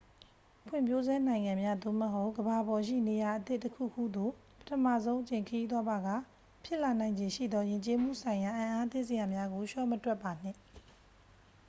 ဖွံ့ဖြိုးဆဲနိုင်ငံများ သို့မဟုတ် ကမ္ဘာပေါ်ရှိနေရာအသစ်တခုခုသို့ ပထမဆုံးအကြိမ်ခရီးသွားပါက ဖြစ်လာနိုင်ခြေရှိသော ယဉ်ကျေးမှုဆိုင်ရာအံ့အားသင့်စရာများကို လျှော့မတွက်ပါနှင့်